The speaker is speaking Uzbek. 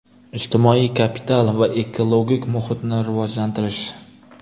ijtimoiy kapital va ekologik muhitni rivojlantirish.